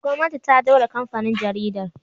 Gwamnati ta daure kamfanin jaridar